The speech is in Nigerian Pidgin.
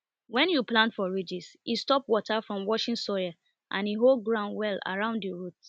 when you plant for ridges e stop water from washing soil and e hold ground well around the roots